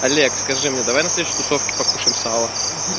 олег скажи мне давай на следующей тусовке покушаем сало